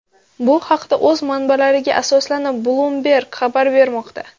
Bu haqda, o‘z manbalariga asoslanib, Bloomberg xabar bermoqda .